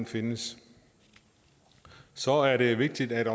findes så er det vigtigt at